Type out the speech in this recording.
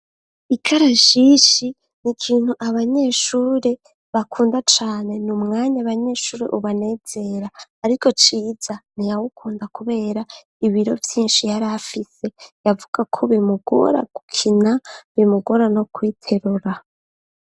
Ikarashishi, ni ikintu abanyeshure bakunda cane; ni umwanya abanyeshuri ubanezera; ariko, Ciza, ntiyawukunda, kubera, ibiro vyinshi, yari afise; yavuga ko, bimugora gukina, bimugora, no kwiterura.